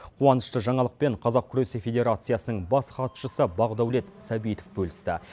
қуанышты жаңалықпен қазақ күресі федерациясының бас хатшысы бақдаулет сәбитов бөлісті